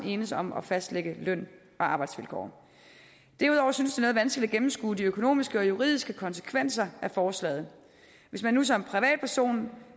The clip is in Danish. enes om at fastlægge løn og arbejdsvilkår derudover synes det noget vanskeligt at gennemskue de økonomiske og juridiske konsekvenser af forslaget hvis man nu som privatperson